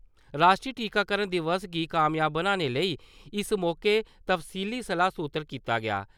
राश्ट्री टीकाकरण दिवस गी कामयाब बनाने लेई इस मौके तफ्सीली सलाह् सुत्तर कीता गेआ ।